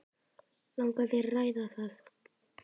Langar þér að ræða það?